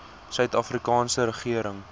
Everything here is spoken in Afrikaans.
suid afrikaanse regering